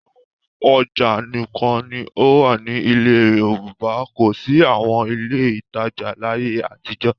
Àwọn ọjà nìkan ni ó wà ní ilẹ̀ Yorùbá kò sí àwọn ilé-ìtajà láyé àtijọ́.